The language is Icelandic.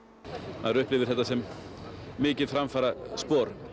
maður upplifir þetta sem mikið framfaraspor